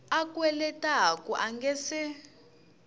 a kweletaku a nga si